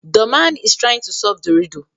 The man is trying to solve the riddle